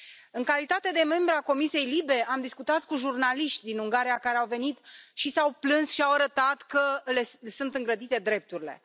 În calitate de membră a comisiei LIBE, am discutat cu jurnaliști din Ungaria care au venit și s au plâns și au arătat că le sunt îngrădite drepturile.